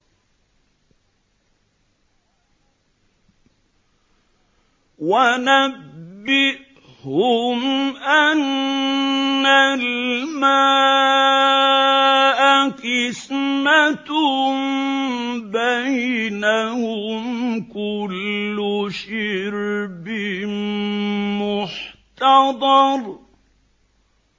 وَنَبِّئْهُمْ أَنَّ الْمَاءَ قِسْمَةٌ بَيْنَهُمْ ۖ كُلُّ شِرْبٍ مُّحْتَضَرٌ